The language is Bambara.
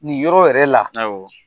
Nin yɔrɔ yɛrɛ la. Awɔ.